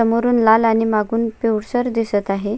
समोरुन लाल आणि मागून पिवळसर दिसत आहे.